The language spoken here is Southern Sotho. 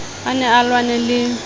a ne a lwanne le